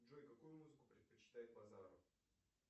джой какую музыку предпочитает базаров